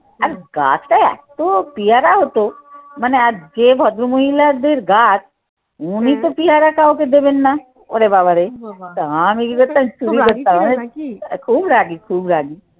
আর গাছটা এতো পেয়ারা হতো মানে আর যে ভদ্র মহিলাদের গাছ উনি তো পিয়ারা কাউকে দেবেন না। ওরে বাবারে খুব রাগী, খুব রাগী।